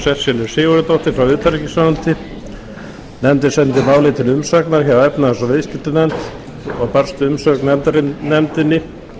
og sesselju sigurðardóttur frá utanríkisráðuneyti nefndin sendi málið til umsagnar hjá efnahags og viðskiptanefnd og barst umsögn nefndinni